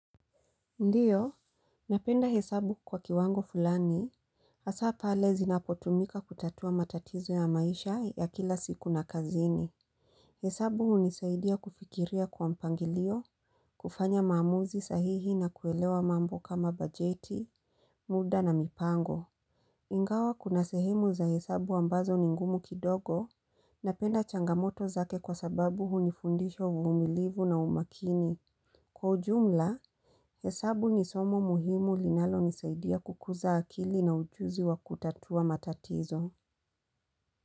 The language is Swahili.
Ndiyo, napenda hesabu kwa kiwango fulani, hasa pale zinapotumika kutatua matatizo ya maisha ya kila siku na kazini. Hesabu hunisaidia kufikiria kwa mpangilio, kufanya maamuzi sahihi na kuelewa mambo kama bajeti, muda na mipango. Ingawa kuna sehemu za hesabu ambazo ni ngumu kidogo, napenda changamoto zake kwa sababu hunifundisha uvumilivu na umakini. Kwa ujumla, hesabu ni somo muhimu linalonisaidia kukuza akili na ujuzi wa kutatua matatizo.